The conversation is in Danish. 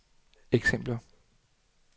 eksempler